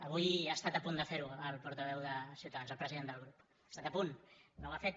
avui ha estat a punt de fer ho el portaveu de ciutadans el president del grup ha estat a punt no ho ha fet